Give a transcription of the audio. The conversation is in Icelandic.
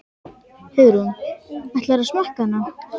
Hugrún: Ætlarðu að smakka hana?